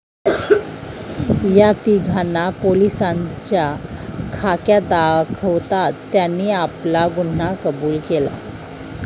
या तीघांना पोलिसांचा खाक्या दाखवताच त्यांनी आपला गुन्हा कबुल केला.